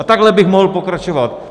A takhle bych mohl pokračovat.